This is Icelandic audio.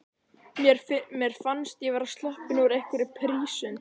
Mér fannst ég vera sloppin úr einhverri prísund.